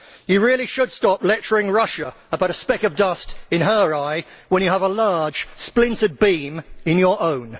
You really should stop lecturing Russia about a speck of dust in her eye when you have a large, splintered beam in your own.